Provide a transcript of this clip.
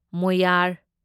ꯃꯣꯌꯥꯔ